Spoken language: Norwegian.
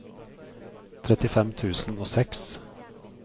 trettifem tusen og seks